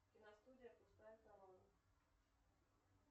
киностудия пустая корона